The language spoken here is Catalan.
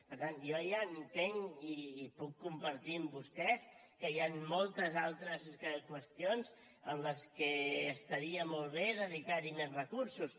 per tant jo ja entenc i ho puc compartir amb vostès que hi han moltes altres qüestions a què estaria molt bé dedicar més recursos